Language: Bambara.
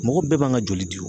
Mɔgɔ bɛɛ man ka joli di wo